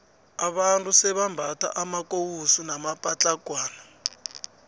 abantu sebambatha amakowusu namapatlagwana